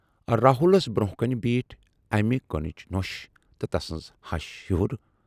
راہُلس برونہہ کنہِ بیٖٹھ امہِ کُنبٕچ نۅش تہٕ تسٕنز ہَش ہیہُر۔